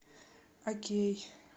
окей